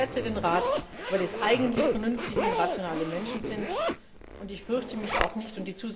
will. Ich schätze den Rat, weil es eigentlich vernünftige und rationale Menschen sind, und ich fürchte mich auch nicht.